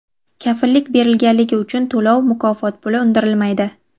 Kafillik berilganligi uchun to‘lov (mukofot puli) undirilmaydi.